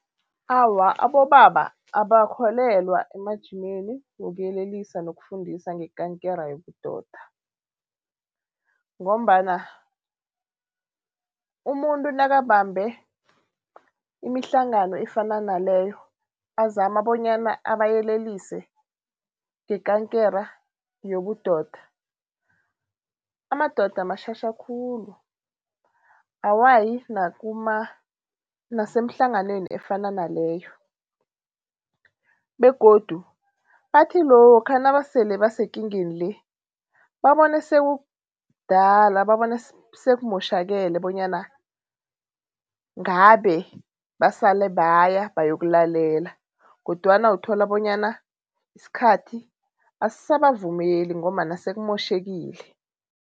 Awa abobaba abakholelwa emajimeni wokuyelelisa nokufundisa ngekankere yobudoda. Ngombana umuntu nakabambe imihlangano efana naleyo azama bonyana abayelelise ngekankere yobudoda, amadoda matjhatjha khulu. Awayi nasemhlanganweni efana naleyo begodu bathi lokha nabasele basekingeni le babone sekukdala, babone sekumotjhakele bonyana ngabe basale baya bayokulalela kodwana uthola bonyana isikhathi asisabavumeli ngombana sekumotjhekile.